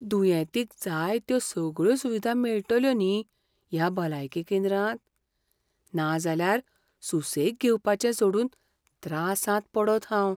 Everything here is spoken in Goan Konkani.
दुयेंतींक जाय त्यो सगळ्यो सुविधा मेळटल्यो न्ही ह्या भलायकी केंद्रांत? नाजाल्यार सुसेग घेवपाचें सोडून त्रासांत पडन हांव.